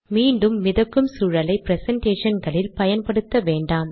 மீண்டும் மிதக்கும் சூழலை ப்ரசன்டேஷன்களில் பயன்படுத்த வேண்டாம்